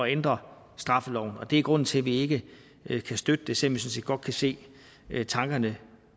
ændre straffeloven og det er grunden til at vi ikke ikke kan støtte det sådan set godt kan se tankerne